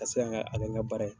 a kɛ n ka baara ye.